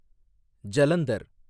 Jalandhar